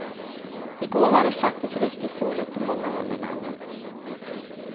I går var det faktiskt riktigt soligt på många håll i landet.